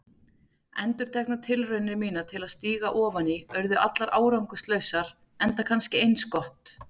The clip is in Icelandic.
Endurteknar tilraunir mínar til að stíga ofan í urðu allar árangurslausar, enda kannski eins gott.